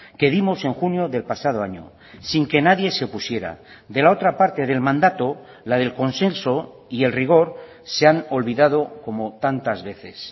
que dimos en junio del pasado año sin que nadie se opusiera de la otra parte del mandato la del consenso y el rigor se han olvidado como tantas veces